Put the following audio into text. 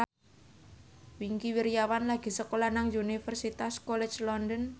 Wingky Wiryawan lagi sekolah nang Universitas College London